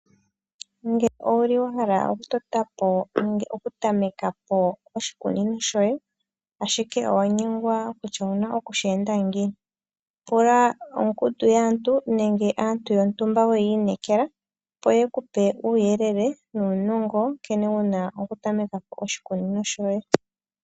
Ngele owuli wahala oku totapo nenge oku tameka po oshikunino shoye ashike owanyengwa kutya owuna oku shenda ngiini pula ongundu yaantu nenge aantu yotumba weyinekela opo yekupe uyelele nunongo nkene wuna oku tamekapo oshikunino shoye.